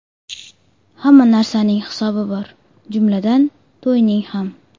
Hamma narsaning hisobi bor, jumladan, to‘yning ham.